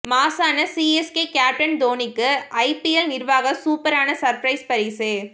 மாஸான CSK captain தோனிக்கு IPL நிர்வாக சூப்பரான சர்ப்பிரைஸ் பரிசு